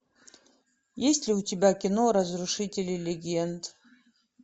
есть ли у тебя кино разрушители легенд